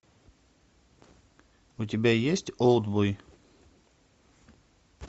у тебя есть олдбой